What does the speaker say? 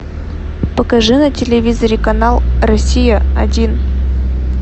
покажи на телевизоре канал россия один